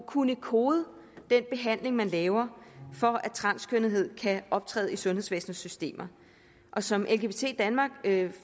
kunne kode den behandling man laver for at transkønnethed kan optræde i sundhedsvæsenets systemer som lgbt danmark